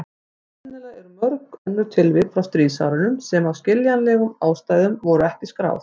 Sennilega eru mörg önnur tilvik frá stríðsárunum sem af skiljanlegum ástæðum voru ekki skráð.